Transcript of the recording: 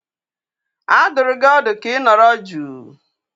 A dụrụ gị ọdụ ka ị nọrọ jụụ!